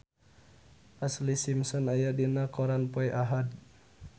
Ashlee Simpson aya dina koran poe Ahad